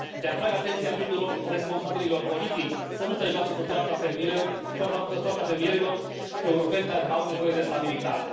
Le atrag atenția tuturor responsabililor politici să nu se joace cu soarta fermierilor europeni care au nevoie de stabilitate.